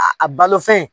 A a balo fɛn